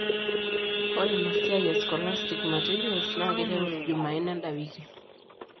Ore inaa siaai e scholastic materials naa keiteru junaine enda wiki.